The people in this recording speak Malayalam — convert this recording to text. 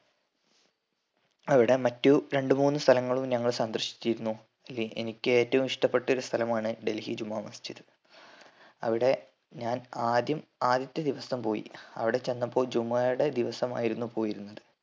അവ്‌ടെ മറ്റു രണ്ട് മൂന്ന് സ്ഥലങ്ങളും ഞങ്ങള് സന്ദർശിച്ചിരുന്നു എൽ എനിക്ക് ഏറ്റവും ഇഷ്ട്ടപെട്ട ഒരു സ്ഥലമാണ് ഡൽഹി ജുമാ മസ്ജിദ്. അവിടെ ഞാൻ ആദ്യം ആദ്യത്തെ ദിവസം പോയി അവ്ടെ ചെന്നപ്പോൾ ജുമാടെ ദിവസമായിരുന്നു പോയിരുന്നത്